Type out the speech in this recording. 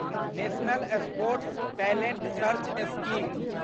national sports talent search scheme